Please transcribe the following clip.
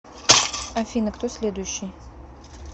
афина кто следующий